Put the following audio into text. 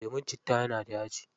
Lemun citta yana da yaji.